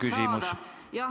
Palun küsimus!